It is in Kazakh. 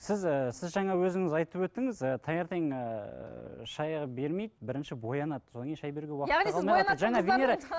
сіз ііі сіз жаңа өзіңіз айтып өттіңіз ы таңертең ыыы шай бермейді бірінші боянады содан шай беруге уақыт та венера